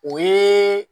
O ye